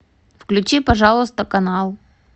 включи пожалуйста канал